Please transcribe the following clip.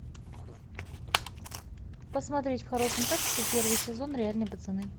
посмотреть в хорошем качестве первый сезон реальные пацаны